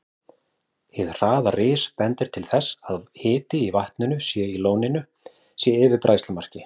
Hið hraða ris bendir til þess, að hiti í vatninu í lóninu sé yfir bræðslumarki.